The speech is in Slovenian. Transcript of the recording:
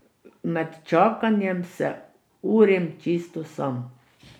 Med čakanjem se urim čisto sam.